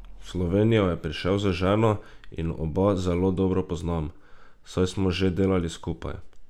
V Slovenijo je prišel z ženo in oba zelo dobro poznam, saj smo že delali skupaj.